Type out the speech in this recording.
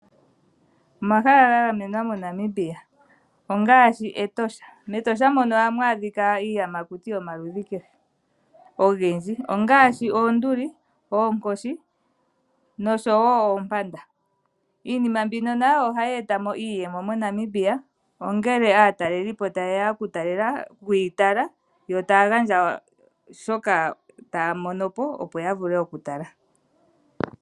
Omahala ga gamenwa moNamibia ongaashi Etosha. Metosha mono ohamu adhika iiyamakuti yomaludhi kehe ogendji, ongaashi oonduli, oonkoshi noshowo oompanda. Iinima mbino nayo ohayi etamo iiyemo mo Namibia ngele aatalelipo tayeya okuyi tala yo taya gandja shoka taya monopo opo yavule oku tala.